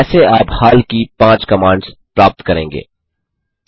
कैसे आप हाल की पाँच कमांड्स प्राप्त करेंगे